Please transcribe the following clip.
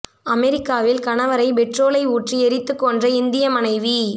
அமெரிக்காவில் கணவரை பெட்ரோலை ஊற்றி எரித்துக் கொன்ற இந்திய மனைவி